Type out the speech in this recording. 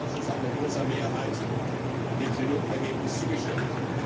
Der Haushaltausschuss hat mit großer Mehrheit dem Trilogergebnis zugestimmt.